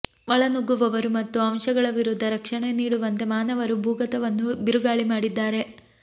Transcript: ಒಳನುಗ್ಗುವವರು ಮತ್ತು ಅಂಶಗಳ ವಿರುದ್ಧ ರಕ್ಷಣೆ ನೀಡುವಂತೆ ಮಾನವರು ಭೂಗತವನ್ನು ಬಿರುಗಾಳಿ ಮಾಡಿದ್ದಾರೆ